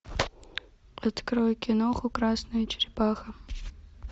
открой киноху красная черепаха